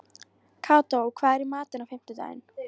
Kató, hvað er í matinn á fimmtudaginn?